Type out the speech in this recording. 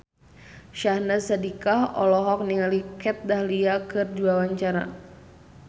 Syahnaz Sadiqah olohok ningali Kat Dahlia keur diwawancara